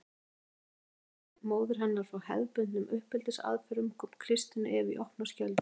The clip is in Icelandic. Þetta algjöra frávik móður hennar frá hefðbundnum uppeldisaðferðum kom Kristínu Evu í opna skjöldu.